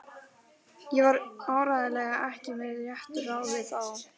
Ég var áreiðanlega ekki með réttu ráði þá.